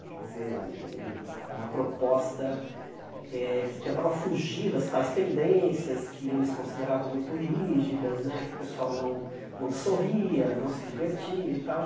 Quer dizer, o o o uma proposta eh que tentava fugir das tais tendências que eles consideravam muito rígidas né, que o pessoal não não sorria, não se divertia e tal.